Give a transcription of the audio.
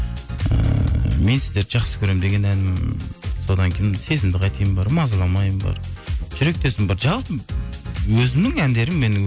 ыыы мен сіздерді жақсы көремін деген ән содан кейін сезімді қайтейін бар мазаламайын бар жүректесің бар жалпы өзімнің әндерім менің